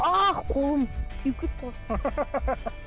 ах қолым күйіп кетті ғой